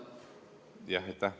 Aitäh!